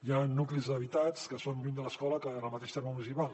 hi ha nuclis habitats que són lluny de l’escola en el mateix terme municipal